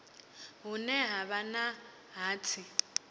hune ha vha na hatsi